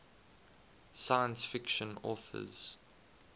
science fiction authors